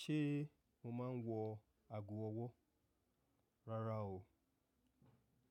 Ṣé mo máa ń wọ ago ọwọ́? Rárá o.